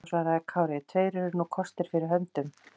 Þá svaraði Kári: Tveir eru nú kostir fyrir höndum.